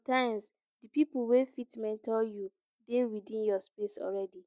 sometimes di pipo wey fit mentor you dey within your space already